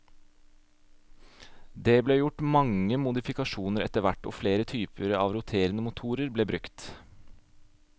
Det ble gjort mange modifikasjoner etterhvert og flere typer av roterende motorer ble brukt.